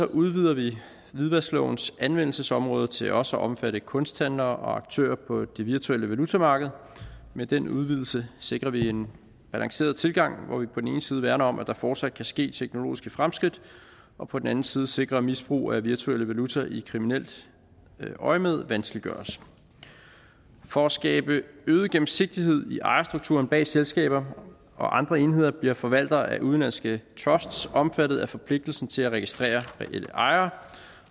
udvider vi hvidvasklovens anvendelsesområde til også at omfatte kunsthandlere og aktører på det virtuelle valutamarked med den udvidelse sikrer vi en balanceret tilgang hvor vi på den ene side værner om at der fortsat kan ske teknologiske fremskridt og på den anden side sikrer at misbrug af virtuelle valutaer i kriminelt øjemed vanskeliggøres for at skabe øget gennemsigtighed i ejerstrukturen bag selskaber og andre enheder bliver forvaltere af udenlandske trusts omfattet forpligtelsen til at registrere reelle ejere